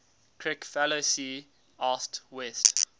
kricfalusi asked west